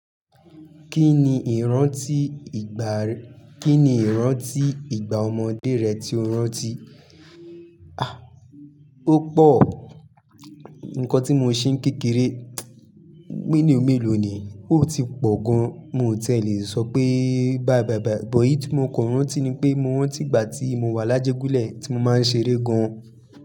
Kí ni ìrántí ìgbà, kí ni ìrántí ìgbà ọmọdé rẹ tí o rántí? Ó pọ̀. Nǹkan tí mo ṣe ń kékeré, meloo mélòó ni? Ó ti pọ̀ gan. Mi ò ti ẹ̀ le sọ pé báyi bàyi bàyi. But eyi tí mo kan rántí ni pé mo rántí ìgbà tí mo wà lájẹ́gúlẹ̀ tí mo máa ń ṣeré gan.